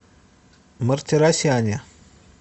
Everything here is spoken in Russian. мартиросяне